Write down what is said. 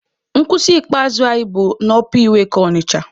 Nkwụsị ikpeazụ anyị bụ n'ọpa iweka Ọnịcha.